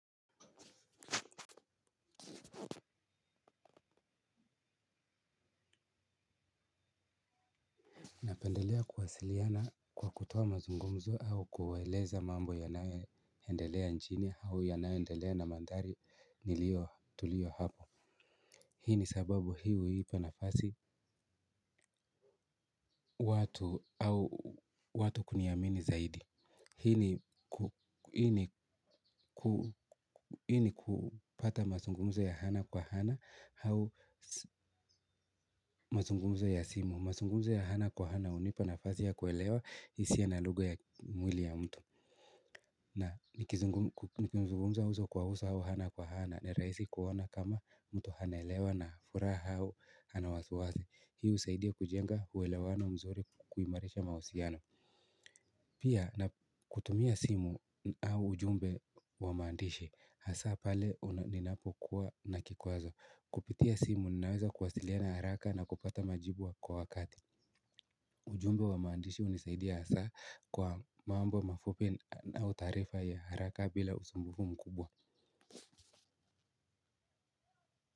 Napendelea kuwasiliana kwa kutuoa mazungumzo au kueleza mambo yanayoendelea nchini au yananyoendelea na mandhari nilio tuliyo hapo. Hii ni sababu hii huipa nafasi watu au watu kuniamini zaidi. Hii ni kupata mazungumzo ya ana kwa ana au mazungumzo ya simu. Mazungumzo ya hna kwa ana hunipa nafasi ya kuelewa hisia na lugha ya mwili ya mtu. Na nikizungumza uso kwa uso au ana kwa ana ni rahisi kuona kama mtu anaelewa na furaha au ana wasiwasi hii husaidia kujenga uewelewano mzuri kuimarisha mahusiano pia na kutumia simu au ujumbe wa mandishi hasa pale ninapokuwa na kikwazo kupitia simu ninaweza kuwasiliana haraka na kupata majibu wa kwa wakati ujumbe wa maandishi aunisaidi hasa kwa mambo mafupi au taarifa ya haraka bila usumbufu mkubwa.